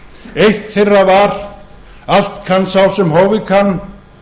eitt þeirra var allt kann sá sem hófið kann